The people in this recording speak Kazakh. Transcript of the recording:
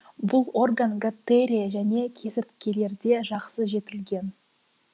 бұл орган гаттерия және кесірткелерде жақсы жетілген